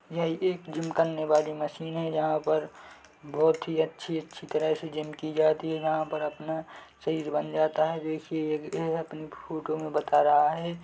यह एक जिम करने वाली मशीन है यहाँ पर बहुत ही अच्छी अच्छी तरह से जिम की जाती है यहाँ पर अपना शरीर बन जाता है देखिए ये फोटो मे बता रहा है।